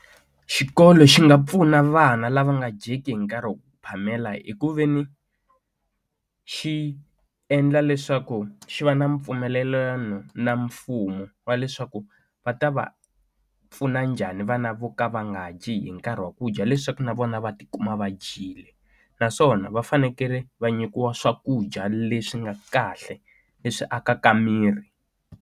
Xikolo xi nga pfuna vana lava nga dyeki hi nkarhi phamela hi ku veni xi endla leswaku xi va na mpfumelelano na mfumo wa leswaku va ta va pfuna njhani vana vo ka va nga dyi hi nkarhi wa ku dya leswaku na vona va ti kuma va dyile naswona va fanekele va nyikiwa swakudya leswi nga kahle leswi akaka miri.